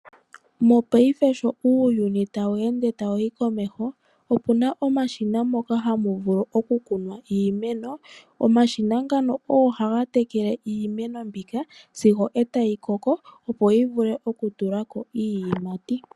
Mopaife sho uuyuni tawu ende tawu yi komeho, opu na omashina moka hamu vulu okukunwa iimeno. Omashina ngaka ogo haga tekele iimeno mbika sigo e tayi koko, opo yi vule okutula ko iiyimati.